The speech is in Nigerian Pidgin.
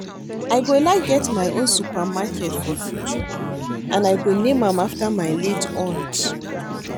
I go like get my own supermarket for future and I go name am after my late Aunt